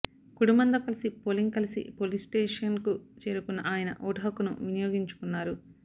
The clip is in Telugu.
కుటుంబంతో కలిసి పోలింగ్ కలిసి పోలింగ్ స్టేషన్ కు చేరుకున్న ఆయన ఓటుహక్కును వినియోగించుకున్నారు